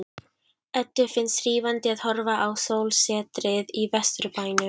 Eddu finnst hrífandi að horfa á sólsetrið í Vesturbænum.